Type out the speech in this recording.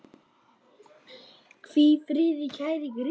Hvíl í friði, kæri Grétar.